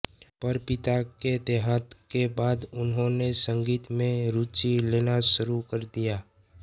पर पिता के देहांत के बाद उन्होंने संगीत में रूची लेना शुरू कर दिया